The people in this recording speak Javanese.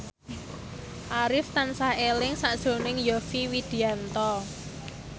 Arif tansah eling sakjroning Yovie Widianto